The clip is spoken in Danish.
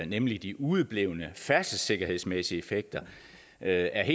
nemlig de udeblevne færdselssikkerhedsmæssige effekter er